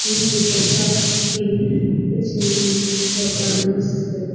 क्योंकि पैसा के बिना कुछ भी नहीं होता --